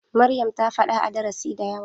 Maryam ta faɗa a darasi da yawa.